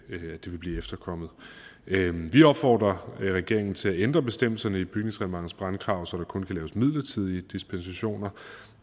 blive efterkommet vi vi opfordrer regeringen til at ændre bestemmelserne i bygningsreglementets brandkrav så der kun kan laves midlertidige dispensationer